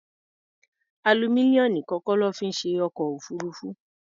Aluminium nìkan kọ́ lọ́ fi ṣe ọkọ̀-òfurufú.